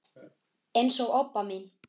eins og Obba mín.